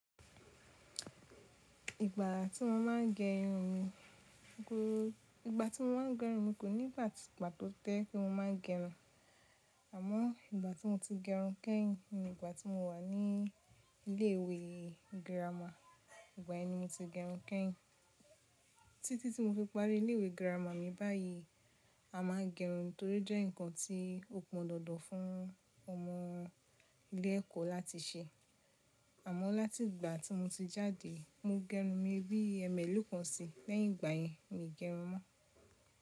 Ìgbà tí mo máa ń gẹ irun mi, ìgbà tí mo máa ń gẹ irun mi kò ní ìgbà tí ìgbà tó, tẹ́, kí mo má n gẹrun, àmọ́ ìgbà tí mo ti gẹrun kẹ́yìn ni ìgbà tí mo wà ní ilé ìwé girama, ìgbà yẹn ni mo ti gẹrun kẹ́yìn. Títí tí mo fi parí ilé ìwé girama mi báyìí, a máa ń gẹrun nítorí jẹ́ ǹkan tí ó pọn dandan fún ọmọ ilé ẹ̀kọ́ láti ṣe. Àmọ́ láti ìgbà tí mo ti jáde, mo gẹrun mi bí ẹmẹ̀lọ̀ kan sí, lẹ́yìn ìgbà yẹn mi gẹrun mọ́.